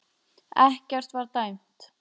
Ekkert var dæmt